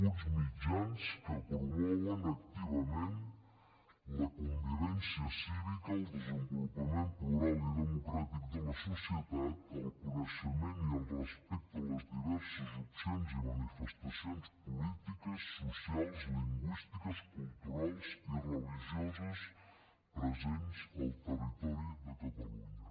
uns mitjans que promouen activament la convivència cívica el desenvolupament plural i democràtic de la societat el coneixement i el respecte a les diverses opcions i manifestacions polítiques socials lingüístiques culturals i religioses presents al territori de catalunya